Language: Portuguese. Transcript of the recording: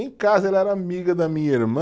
Em casa ela era amiga da minha irmã.